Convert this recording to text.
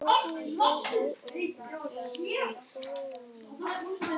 Þeir ættu að geta hjálpað þér.